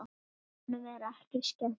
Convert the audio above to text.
Honum er ekki skemmt.